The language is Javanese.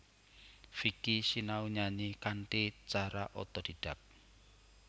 Vicky sinau nyanyi kanthi cara otodidak